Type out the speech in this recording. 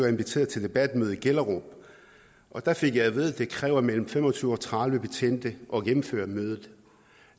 inviteret til debatmøde i gellerup og der fik jeg at vide at det krævede mellem fem og tyve og tredive betjente at gennemføre mødet